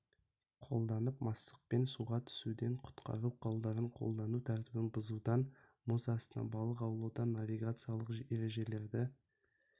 қолданып мастықпен суға түсуден құтқару құралдарын қолдану тәртібін бұзудан мұз астынан балық аулаудан навигациялық ережелерді